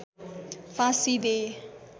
फाँसी दे